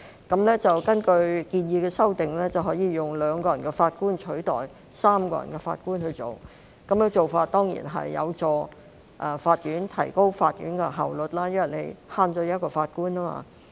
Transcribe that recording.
根據建議的修訂，以2名法官取代3名法官處理案件，此舉當然有助提高法院的效率，因為可減省一名法官。